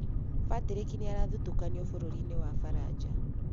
Patrick nĩ arathutũkanio bũrũri-inĩ wa Faranja.